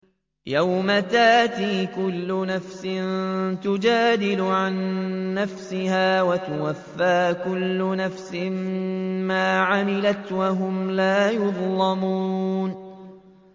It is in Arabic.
۞ يَوْمَ تَأْتِي كُلُّ نَفْسٍ تُجَادِلُ عَن نَّفْسِهَا وَتُوَفَّىٰ كُلُّ نَفْسٍ مَّا عَمِلَتْ وَهُمْ لَا يُظْلَمُونَ